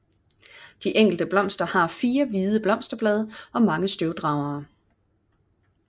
De enkelte blomster har fire hvide blosterblade og mange støvdragere